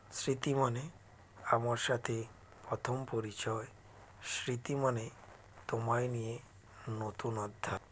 স্মৃতি মানে আমার সাথে প্রথম পরিচয় স্মৃতি মানে তোমায় নিয়ে নতুন আধ্যায়